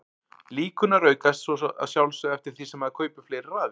Líkurnar aukast svo að sjálfsögðu eftir því sem maður kaupir fleiri raðir.